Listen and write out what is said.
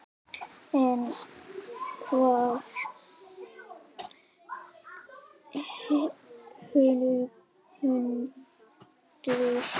En hvaða hundur?